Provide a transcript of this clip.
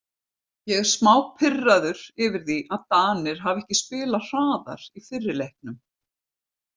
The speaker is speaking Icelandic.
Ég er smá pirraður yfir því að Danir hafi ekki spilað hraðar í fyrri leiknum.